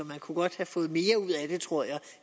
man kunne godt have fået mere ud af det tror jeg